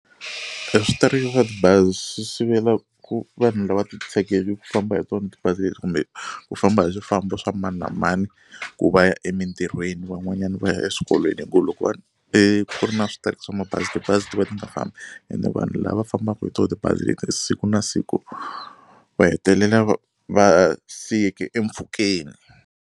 E swa tibazi swi sivela ku vanhu lava ti tshegeke ku famba hi tona ti bazi leri kumbe ku famba hi swifambo swa mani na mani ku va ya emintirhweni van'wanyana va ya eswikolweni hi ku loko va ri eku ri na switereka swa mabazi tibazi ti va ti nga fambi ene vanhu lava fambaka hi tona tibazi leti siku na siku va hetelela va va siyeke mpfhukeni.